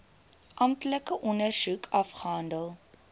amptelike ondersoek afgehandel